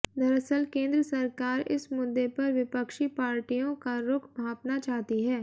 दरअसल केंद्र सरकार इस मुद्दे पर विपक्षी पार्टियों का रुख भांपना चाहती है